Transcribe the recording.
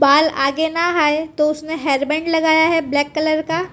बाल आगे ना आएं तो उसने हेयर बैंड लगाया है ब्लैक कलर का।